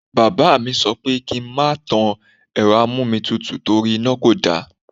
Bàbá mi sọ pé kí n má tan Ẹ̀rọ amómitutù torí iná kò dára.